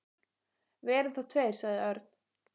Við erum þó tveir, sagði Örn.